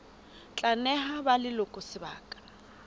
tla neha ba leloko sebaka